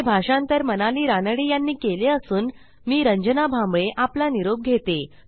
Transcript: हे भाषांतर मनाली रानडे यांनी केले असून मी रंजना भांबळे आपला निरोप घेते